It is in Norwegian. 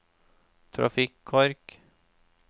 trafikkork